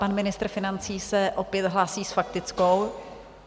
Pan ministr financí se opět hlásí s faktickou.